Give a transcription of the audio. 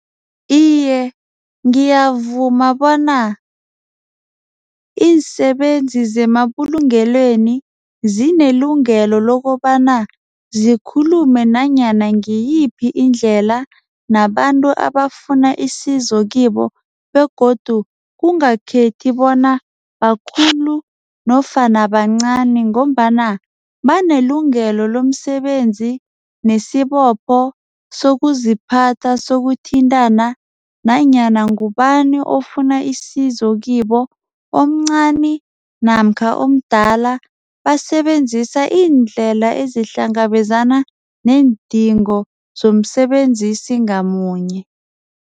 Iye, ngiyavuma bona iinsebenzi zemabulungelweni zinelungelo lokobana zikhulume nanyana ngiyiphi indlela nabantu abafuna isizo kibo begodu kungakhethi bona bakhulu nofana bancani ngombana banelungelo lomsebenzi nesibopho sokuziphatha sokuthintana nanyana ngubani ofuna isizo kibo omncani namkha omdala basebenzisa iindlela ezihlangabezana neendingo zomsebenzisi ngamunye.